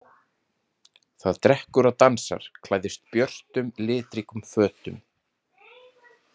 Það drekkur og dansar, klæðist björtum litríkum fötum.